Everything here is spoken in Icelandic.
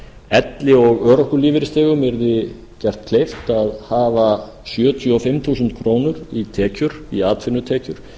elli og örorkulífeyrisþegum yrði gert kleift að hafa sjötíu og fimm þúsund krónur í atvinnutekjur